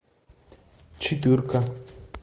четырка